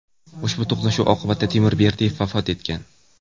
Ushbu to‘qnashuv oqibatida Timur Berdiyev vafot etgan.